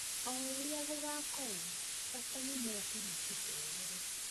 Oũria gũgakorwo bata nimoke matucerere